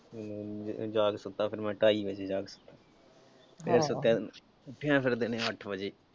ਮੈਂ ਜਾ ਕੇ ਸੁੱਤਾ ਫਿਰ ਢਾਈ ਵਜੇ ਤੋਂ ਬਾਅਦ ਫਿਰ ਸੁੱਤਿਆਂ ਉੱਠਿਆ ਫਿਰ ਦਿਨੇ ਅੱਠ ਵਜੇ।